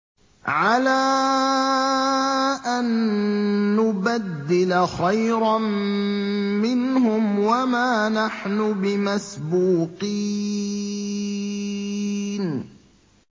عَلَىٰ أَن نُّبَدِّلَ خَيْرًا مِّنْهُمْ وَمَا نَحْنُ بِمَسْبُوقِينَ